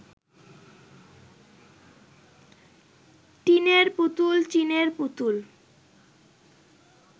টিনের পুতুল চীনের পুতুল